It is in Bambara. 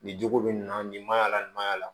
Nin cogo bɛ nin na nin ma yala nin ma y'a la